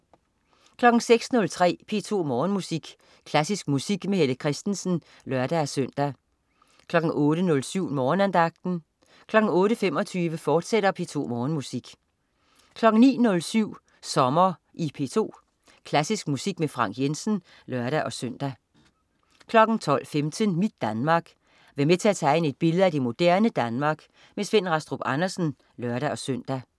06.03 P2 Morgenmusik. Klassisk musik med Helle Kristensen (lør-søn) 08.07 Morgenandagten 08.25 P2 Morgenmusik, fortsat 09.07 Sommer i P2. Klassisk musik med Frank Jensen (lør-søn) 12.15 Mit Danmark. Vær med til at tegne et billede af det moderne Danmark. Svend Rastrup Andersen (lør-søn)